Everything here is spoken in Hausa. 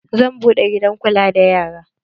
Zan buɗe gidan kula da yara.